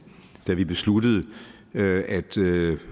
da vi besluttede at